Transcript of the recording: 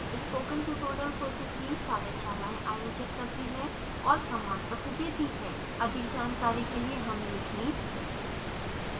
spoken tutorial project team कार्यशालाएं आयोजित करती है और प्रमाणपत्र देती है अधिक जानकारी के लिए हमें लिखें